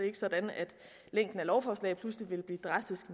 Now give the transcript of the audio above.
er sådan at længden af lovforslag pludselig vil blive drastisk